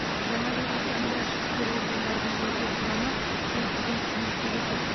жаңа жыл қарсаңында ішкі істер органдарының жеке құрамы күшейтілген қызметке көшеді